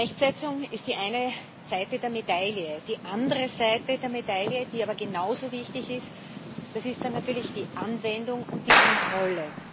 Rechtsetzung ist die eine Seite der Medaille. Die andere Seite der Medaille, die aber genauso wichtig ist, ist dann natürlich die Anwendung und die Kontrolle.